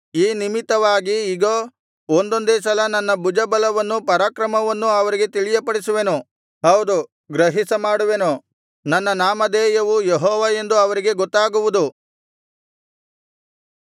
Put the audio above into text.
ಈ ನಿಮಿತ್ತವಾಗಿ ಇಗೋ ಇದೊಂದೇ ಸಲ ನನ್ನ ಭುಜಬಲವನ್ನೂ ಪರಾಕ್ರಮವನ್ನೂ ಅವರಿಗೆ ತಿಳಿಯಪಡಿಸುವೆನು ಹೌದು ಗ್ರಹಿಸಮಾಡುವೆನು ನನ್ನ ನಾಮಧೇಯವು ಯೆಹೋವ ಎಂದು ಅವರಿಗೆ ಗೊತ್ತಾಗುವುದು